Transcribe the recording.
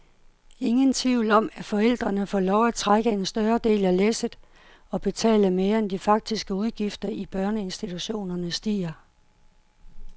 Ingen tvivl om, at forældrene får lov at trække en større del af læsset og betale mere, end de faktiske udgifter i børneinstiutionerne stiger.